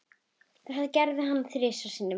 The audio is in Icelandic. Þetta gerði hann þrisvar sinnum.